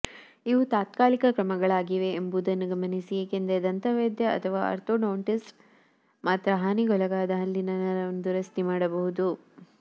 ಇವುಗಳು ತಾತ್ಕಾಲಿಕ ಕ್ರಮಗಳಾಗಿವೆ ಎಂಬುದನ್ನು ಗಮನಿಸಿ ಏಕೆಂದರೆ ದಂತವೈದ್ಯ ಅಥವಾ ಆರ್ಥೋಡಾಂಟಿಸ್ಟ್ ಮಾತ್ರ ಹಾನಿಗೊಳಗಾದ ಹಲ್ಲಿನ ನರವನ್ನು ದುರಸ್ತಿಮಾಡಬಹುದು